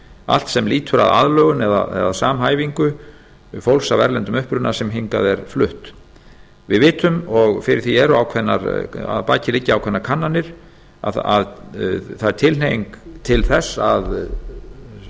allt sem lýtur að aðlögun eða samhæfingu fólks af erlendum uppruna sem hingað er flutt við vitum og að baki liggja ákveðnar kannanir að það er tilhneiging til þess að